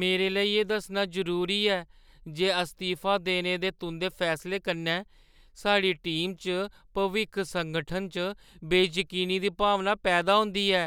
मेरे लेई एह् दस्सना जरूरी ऐ जे अस्तीफा देने दे तुंʼदे फैसले कन्नै साढ़ी टीमा च भविक्ख संगठन च बेजकीनी दी भावना पैदा होंदी ऐ,